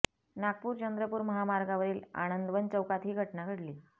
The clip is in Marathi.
नागपूर चंद्रपूर महामार्गावरील आनंदवन चौकात ही घटना घडली